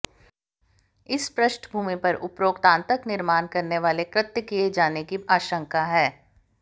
इस पृष्ठभूमी पर उपरोक्त आतंक निर्माण करनेवाले कृत्य किए जाने की आशंका है